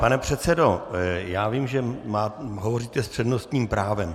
Pane předsedo, já vím, že hovoříte s přednostním právem.